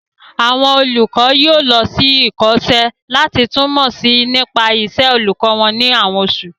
Àwọn olùkọ́ yóò lọ sí ìkọ́ṣẹ́ láti tún mọ̀ si nípa ìṣe olùkọ́ wọn ní àwọn osu